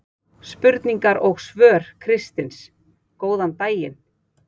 Spurningar og svör Kristins Góðan daginn!